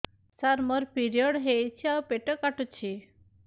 ସାର ମୋର ପିରିଅଡ଼ ହେଇଚି ଆଉ ପେଟ କାଟୁଛି